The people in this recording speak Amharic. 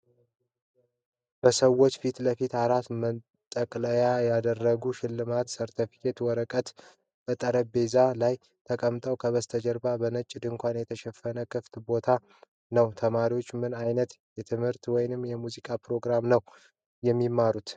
በሰዎች ፊት ለፊት አራት መጠቅለያ የተደረገባቸው ሽልማቶችና የሰርተፍኬት ወረቀቶች በጠረጴዛ ላይ ተቀምጠዋል። ከበስተጀርባ በነጭ ድንኳን የተሸፈነ ክፍት ቦታ ነው። ተማሪዎቹ ምን አይነት የትምህርት ወይም የሙዚቃ ፕሮግራም ነው የሚማሩት?